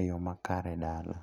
e yo makare dala.